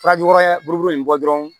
Farajukɔrɔya buruburu in bɔ dɔrɔn